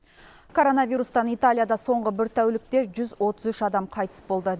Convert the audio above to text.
коронавирустан италияда соңғы бір тәулікте жүз отыз үш адам қайтыс болды